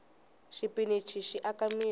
xipinichi xi aka mirhi